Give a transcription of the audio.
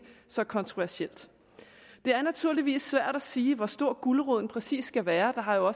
så kontroversielt det er naturligvis svært at sige hvor stor guleroden præcis skal være der har jo